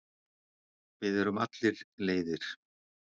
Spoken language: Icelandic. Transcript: Við erum allir leiðir.